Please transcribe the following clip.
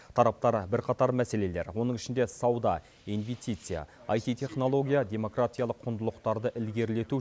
тараптар бірқатар мәселелер оның ішінде сауда инвестиция аити технология демократиялық құндылықтарды ілгерілету